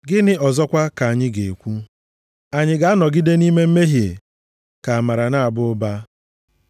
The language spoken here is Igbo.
Gịnị ọzọkwa ka anyị ga-ekwu? Anyị ga-anọgide nʼime mmehie ka amara na-aba ụba?